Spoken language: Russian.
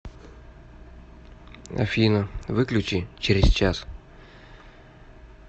афина выключи через час